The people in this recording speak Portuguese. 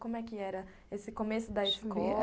Como é que era esse começo da escola?